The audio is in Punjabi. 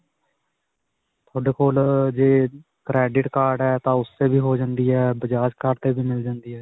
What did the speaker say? ਤੁਹਾਡੇ ਕੋਲ ਅਅ ਜੇ credit card ਹੈ ਤਾਂ ਓਸ ਤੇ ਵੀ ਹੋ ਜਾਂਦੀ ਹੈ bajaj card ਤੇ ਵੀ ਮਿਲ ਜਾਂਦੀ ਹੈ.